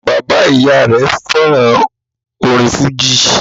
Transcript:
Bàbá-ìy rẹ̀ fẹ́ràn orin fújì.